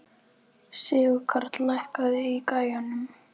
Sigurkarl, lækkaðu í græjunum.